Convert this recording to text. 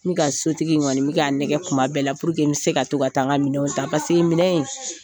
N ka sotigi kɔni bɛ k'a nɛgɛn kuma bɛɛ la n bɛ se ka to ka taa n ka minɛnw ta minɛn in